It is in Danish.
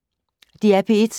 DR P1